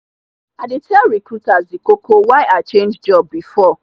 i dey tell recruiter the koko why i change job before.